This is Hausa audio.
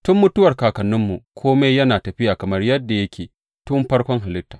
Tun mutuwar kakanninmu, kome yana tafiya kamar yadda yake tun farkon halitta.